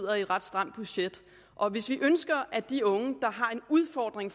har et ret stramt budget hvis vi ønsker at de unge der har en udfordring